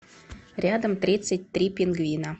рядом тридцать три пингвина